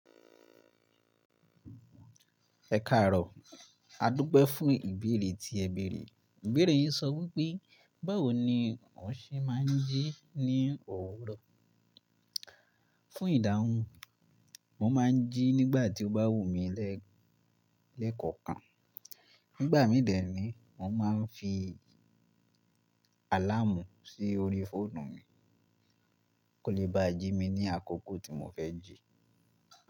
Ẹ̀karọ̀, a dúpẹ́ fún ìbéèrè tí ẹ bèèrè. Ìbéèrè yín sọ wípé, báwo ni mo ṣe máa ń jí ní òwúrọ̀. Fún ìdáhùn, mo máa ń jí nígbà tí ó bá wù mí lẹ́ẹ̀kọ̀kan. Nígbà mí dẹ̀ ní, mo máa ń fi àláàmù sí orí fóònù mi, kó lè bá jí mi ní àkókò tí mo fẹ́ jí.